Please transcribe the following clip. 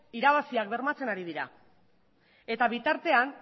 irabaziak bermatzen ari dira eta bitartean